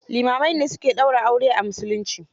Limamai ne su ke daura aure a musulunci.